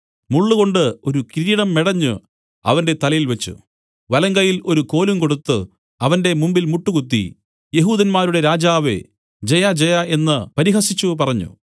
മുള്ളുകൊണ്ട് ഒരു കിരീടം മെടഞ്ഞു അവന്റെ തലയിൽ വെച്ച് വലങ്കയ്യിൽ ഒരു കോലും കൊടുത്തു അവന്റെ മുമ്പിൽ മുട്ടുകുത്തി യെഹൂദന്മാരുടെ രാജാവേ ജയജയ എന്നു പരിഹസിച്ചു പറഞ്ഞു